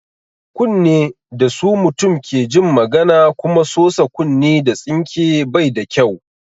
Kunne da su mutum ke jin magana kuma sosa kunne da tsinke bai da kyau.